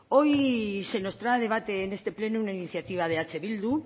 hoy se nos trae a debate en este pleno una iniciativa de eh bildu